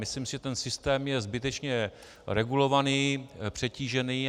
Myslím si, že ten systém je zbytečně regulovaný, přetížený.